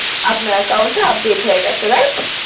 আপনার Account টি update হয়ে গেছে Right